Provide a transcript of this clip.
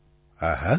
પ્રધાનમંત્રી હા હા